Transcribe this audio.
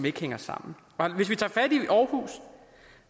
ikke hænger sammen hvis vi tager aarhus